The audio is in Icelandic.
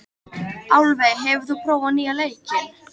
Álfey, hefur þú prófað nýja leikinn?